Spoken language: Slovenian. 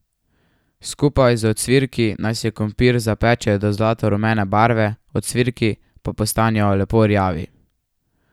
Skupaj z ocvirki naj se krompir zapeče do zlato rumene barve, ocvirki pa postanejo lepo rjavi.